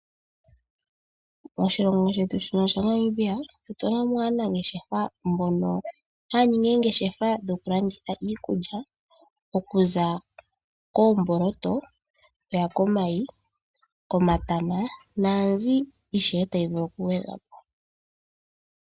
Moshilongo shetu shino shaNamibia otuna mo aanangeshefa mbono haya ningi oongeshefa dhoku landitha iikulya okuza koomboloto, oku ya komayi, komatama naambi ishewe tayi vulu oku gwedhwa po.